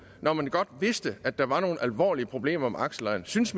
når man godt vidste at der var nogle alvorlige problemer med aksellejerne synes